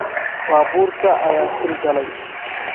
Baabuurka ayaa shil galay